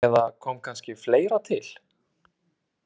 Eða kom kannski fleira til?